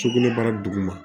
Sugunɛbara duguma